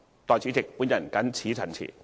代理主席，我謹此陳辭。